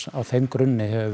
á þeim grunni hefur